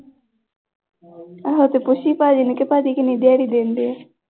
ਉਹ ਤੂੰ ਪੁੱਛੀ ਭਾਜੀ ਨੂੰ ਕਿ ਭਾਜੀ ਕਿੰਨੀ ਦਿਹਾੜੀ ਦਿੰਦੇ ਆ।